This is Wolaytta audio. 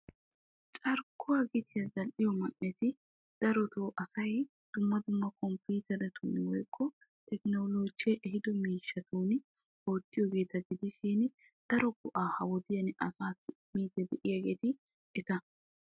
Carkkuwa gitiyan zal'iyo man'etti komppitteriyanne hara zamaana buquran zal'iyoogetta. Ha wodiyan qassi dumma dumma go'aa immiyaagetti etta.